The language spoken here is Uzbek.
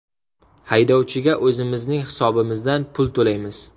Haydovchiga o‘zimizning hisobimizdan pul to‘laymiz.